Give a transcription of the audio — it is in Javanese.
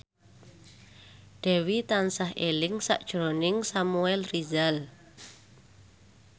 Dewi tansah eling sakjroning Samuel Rizal